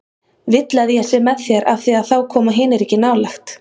Vill að ég sé með þér af því að þá koma hinir ekki nálægt.